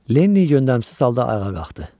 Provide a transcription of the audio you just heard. Lenni yönləmsiz halda ayağa qalxdı.